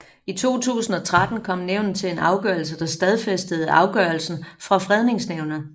I 2013 kom nævnet til en afgørelse der stadfæstede afgørelsen fra Fredningsnævnet